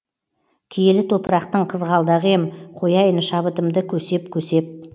киелі топырақтың қызғалдағы ем қояйын шабытымды көсеп көсеп